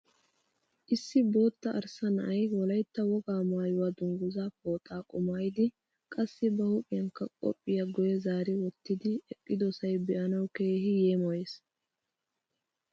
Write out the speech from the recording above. Issi bootta arssa na'ay Wolaytta wogaa maayuwa dungguzaa pooxaa qumaayidi qassi ba huuphiyankka qophiya guye zaari wottitidi eqqidosay be'anawu keehi yeemoyees.